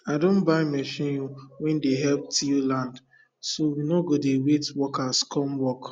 i don buy machine wen dey help till land so we no go dey wait workers come work